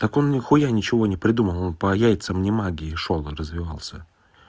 так он нихуя ничего не придумал он по яйцам не магии шёл и развивался